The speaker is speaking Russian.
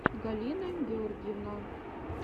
галина гергивна